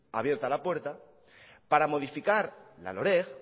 abierta la puerta para modificar la loreg